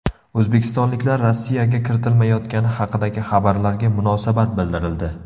O‘zbekistonliklar Rossiyaga kiritilmayotgani haqidagi xabarlarga munosabat bildirildi.